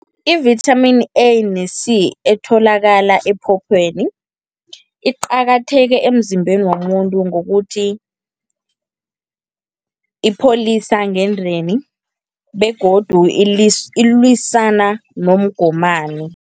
I-vitamin A ne-C, etholakala ephopheni, iqakatheke emzimbeni womuntu ngokuthi, ipholisa ngendeni, begodu ilwisana nomgomani.